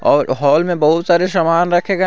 और हॉल में बहुत सारे सामान रखे गए --